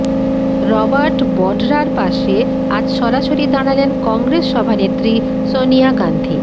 Robert বঢরার পাশে আজ সরাসরি দাঁড়ালেন কংগ্রেস সভানেত্রী সনিয়া গাঁধী